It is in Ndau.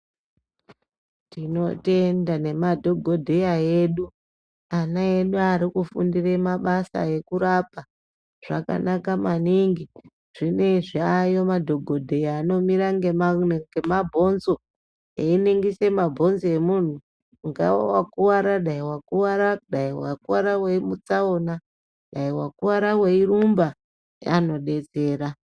Tinotenda nemadhogodheya edu ,ana edu arikufundire mabasa ekurapa. Zvakanaka mwaningi .Zvinezvi aayo madhokodheya anomire ngemabhonzo einingirise mabhonzo emunhu unowa wakuvara dai wakuvara ngemutsaona ,dai wakuvara weirumba anodetsera.